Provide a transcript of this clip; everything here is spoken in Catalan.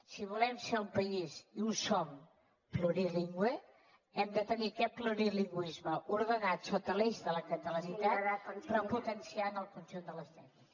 si volem ser un país i ho som plurilingüe hem de tenir aquest plurilingüisme ordenat sota l’eix de la catalanitat però potenciant el conjunt de les llengües